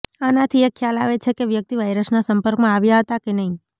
આનાથી એ ખ્યાલ આવે છે કે વ્યક્તિ વાયરસના સંપર્કમાં આવ્યા હતા કે નહીં